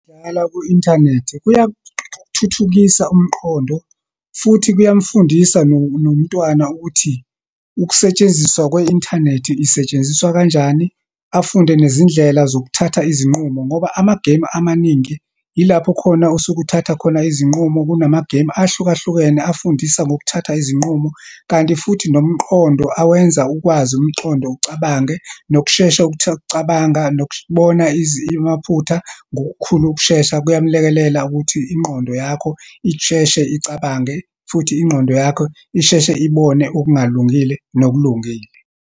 Ukudlala ku-inthanethi, kuyathuthukisa umqondo futhi kuyamufundisa nomntwana ukuthi ukusetshenziswa kwe-inthanethi, isetshenziswa kanjani, afunde nezindlela zokuthatha izinqumo. Ngoba amagemu amaningi yilapho khona osuke uthatha khona izinqumo. Kunamagemu ahlukahlukene afundisa ngokuthatha izinqumo. Kanti futhi nomqondo, awenza ukwazi umqondo ucabange, nokushesha ukucabanga, nokubona amaphutha ngokukhulu ukushesha, kuyamlekelela ukuthi ingqondo yakho isheshe icabange, futhi ingqondo yakho isheshe ibone okungalungile, nokulungile